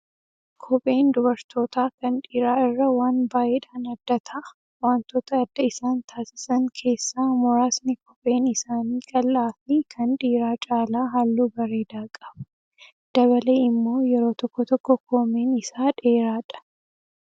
Kopheen dubartootaa kan dhiiraa irraa waan baay'eedhaan adda ta'a. Wantoota adda isaan taasis keessaa muraasni kopheen isaanii qal'aa fi kan dhiiraa calaa halluu bareedaa qaba. Dabalee immoo yeroo tokko tokko koomeen isaa dheeraadha.